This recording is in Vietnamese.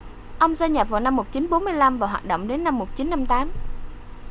ông gia nhập vào năm 1945 và hoạt động đến năm 1958